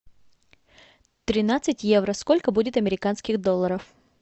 тринадцать евро сколько будет американских долларов